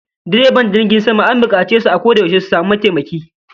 Direban jirgin sama an bukace su a koda yaushe su samu mataimaki